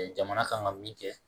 Jamana kan ka min kɛ